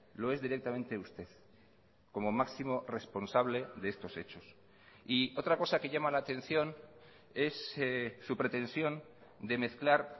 lo es directamente usted como máximo responsable de estos hechos y otra cosa que llama la atención es su pretensión de mezclar